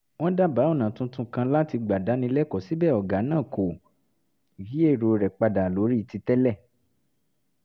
wọ́n dábàá ọ̀nà tuntun kan láti gbà dáni lẹ́kọ̀ọ́ síbẹ̀ ọ̀gá náà kò yí èrò rẹ̀ padà lórí ti tẹ́lẹ̀